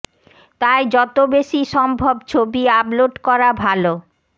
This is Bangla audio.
তাই যতো বেশী সম্ভব ছবি আপলোড করা ভালো